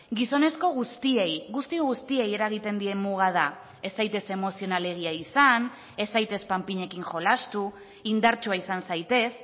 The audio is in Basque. gizonezko guztiei guzti guztiei eragiten dien muga da ez zaitez emozionalegia izan ez zaitez panpinekin jolastu indartsua izan zaitez